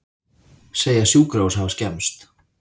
Segja sjúkrahús hafa skemmst